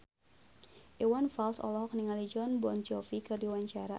Iwan Fals olohok ningali Jon Bon Jovi keur diwawancara